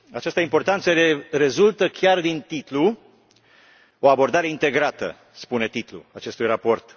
Această importanță rezultă chiar din titlu O abordare integrată, spune titlul acestui raport.